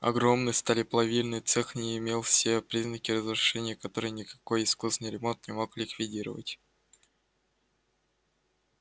огромный сталеплавильный цех не имел все признаки разрушения которые никакой искусный ремонт не мог ликвидировать